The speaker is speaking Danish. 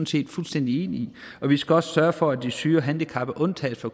set fuldstændig enige i vi skal også sørge for at de syge og handicappede undtages fra